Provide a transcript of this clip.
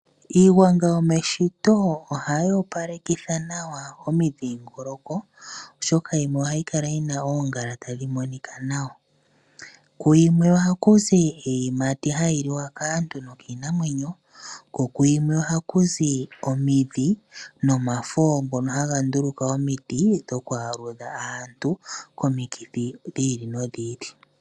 Iigwanga yomeshito ohayi opalekitha nawa omidhingoloko oshoka yimwe ohayi kala yina oongala tadhi monika nawa . Kuyimwe ohakuzi iiyimati hayi liwa kaantu nokiinamwenyo kokuyime ohakuzi omidhi nomafo ngono haga nduluka omiti dhoku aludha aantu komikithi dhiili nodhiili .